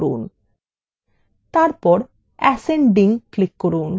তারপর ascending এ click করুন